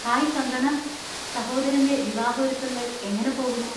Hi Kangana! സഹോദരന്‍റെ വിവാഹ ഒരുക്കങ്ങൾ എങ്ങനെ പോകുന്നു?